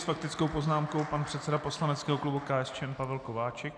S faktickou poznámkou pan předseda poslaneckého klubu KSČM Pavel Kováčik.